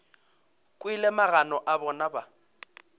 kwele magano a bona ba